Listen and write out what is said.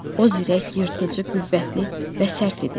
O ürək, yırtıcı, qüvvətli və sərt idi.